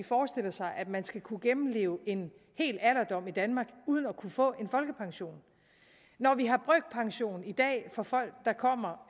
forestiller sig at man skal kunne gennemleve en hel alderdom i danmark uden at kunne få folkepension når vi har brøkpension i dag for folk der kommer